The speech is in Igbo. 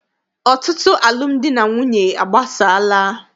Ọtụtụ alụmdi na nwunye agbasaala.